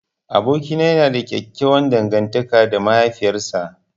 Abokina yana da ƙyaƙƙyawan dangantaka da mahaifiyar sa.